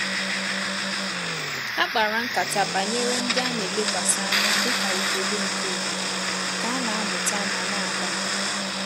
Ha kpara nkata banyere ndị a na-elekwasị ànyà dị ka ugogbe nke obodo ka na-amụta ma na-agbalị